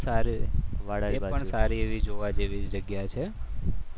એ પણ સારી એવી જોવા જેવી જગ્યા છે